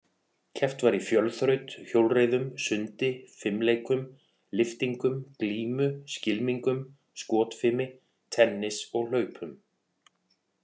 Keppt var í fjölþraut, hjólreiðum, sundi, fimleikum, lyftingum, glímu, skylmingum, skotfimi, tennis og hlaupum.